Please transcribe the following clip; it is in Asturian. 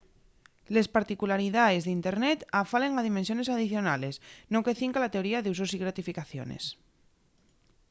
les particularidaes d’internet afalen a dimensiones adicionales no que cinca la teoría d’usos y gratificaciones